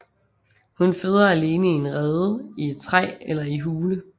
Hun føder alene i en rede i et træ eller i hule